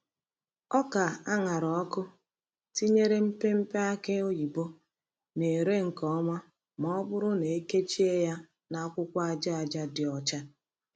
Oka a ṅara ọkụ tinyere mpekere aki oyibo na-ere nke ọma ma ọ bụrụ na e kechie ya n’akwụkwọ aja aja dị ọcha.